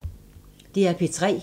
DR P3